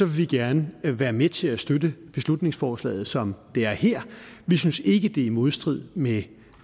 vi gerne være med til at støtte beslutningsforslaget som det er her vi synes ikke det er i modstrid med